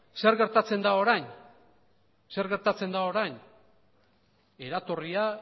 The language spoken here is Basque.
zer gertatzen da orain eratorria